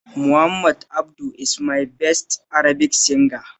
Muhammad Abdu is my best Arabic singer